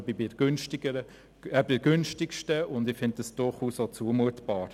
Ich selber bin bei günstigsten und finde dies durchaus zumutbar.